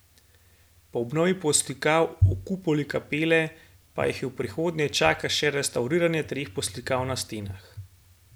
Po obnovi poslikav v kupoli kapele pa jih v prihodnje čaka še restavriranje treh poslikav na stenah.